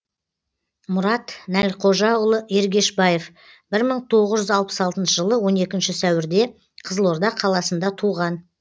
мұрат нәлқожаұлы ергешбаев бір мың тоғыз жүз алпыс алтыншы жылы он екінші сәуірде қызылорда қаласында туған